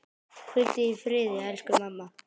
Hvíldu í friði, elsku mamma.